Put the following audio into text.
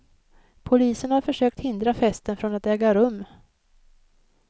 Polisen har försökt hindra festen från att äga rum.